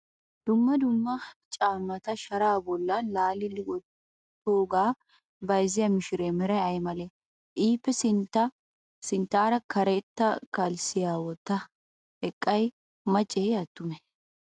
Dumma dumma caammata sharaa bollan laali wottoogaa bayizziya mishiree meray ayi malee? Iippe sinttaara karetta kalssiya wottidi eqqiday macceeyye attumee?